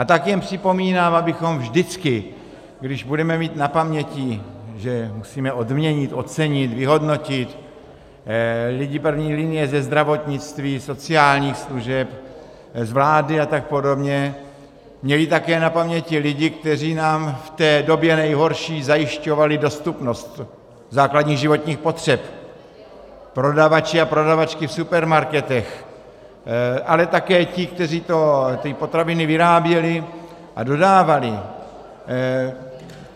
A tak jen připomínám, abychom vždycky, když budeme mít na paměti, že musíme odměnit, ocenit, vyhodnotit lidi první linie ze zdravotnictví, sociálních služeb, z vlády a tak podobně, měli také na paměti lidi, kteří nám v té době nejhorší zajišťovali dostupnost základních životních potřeb, prodavače a prodavačky v supermarketech, ale také ty, kteří ty potraviny vyráběli a dodávali.